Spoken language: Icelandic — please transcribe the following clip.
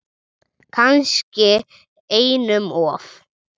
Kannski einum of.